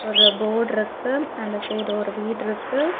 ஒரு போர்ட்ருக்கு அந்த சைடு ஒரு வீட்ருக்கு.